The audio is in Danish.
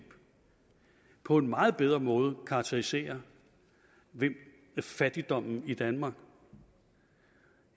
på en meget bedre måde karakteriserer fattigdommen i danmark